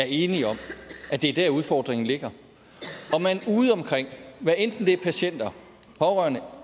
er enige om at det er der udfordringen ligger og man ude omkring hvad enten det er patienter pårørende